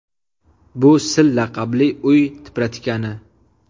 Bu Sil laqabli uy tipratikani.